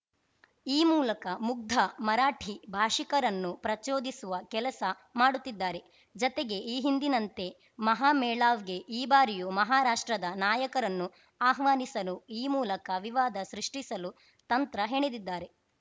ಈ ಮೂಲಕ ಮುಗ್ಧ ಮರಾಠಿ ಭಾಷಿಕರನ್ನು ಪ್ರಚೋದಿಸುವ ಕೆಲಸ ಮಾಡುತ್ತಿದ್ದಾರೆ ಜತೆಗೆ ಈ ಹಿಂದಿನಂತೆ ಮಹಾಮೇಳಾವ್‌ಗೆ ಈ ಬಾರಿಯೂ ಮಹಾರಾಷ್ಟ್ರದ ನಾಯಕರನ್ನು ಆಹ್ವಾನಿಸಲು ಈ ಮೂಲಕ ವಿವಾದ ಸೃಷ್ಟಿಸಲು ತಂತ್ರ ಹೆಣೆದಿದ್ದಾರೆ